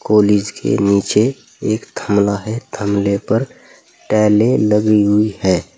और इसके नीचे एक थमला है थमले पर टाइलें लगी हुई है।